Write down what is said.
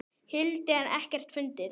hildi en ekkert fundið.